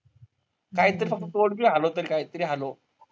काहीतर फक्त तोंड बी हालव, कायतरी हालव.